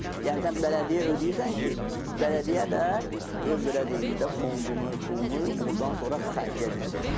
yəni sən bələdiyyəyə ödəyirsən ki, bələdiyyə də öz belə deyim də, fondunu, pulunu ordan sonra xərcləyə bilsin.